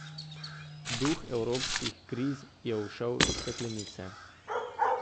Duh evropskih kriz je ušel iz steklenice.